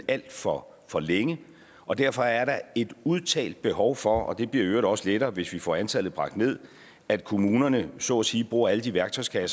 alt for for længe og derfor er der et udtalt behov for og det bliver i øvrigt også lettere hvis vi får antallet bragt ned at kommunerne så at sige bruger alle de værktøjer